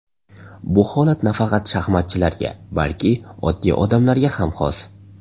Bu holat nafaqat shaxmatchilarga, balki oddiy odamlarga ham xos.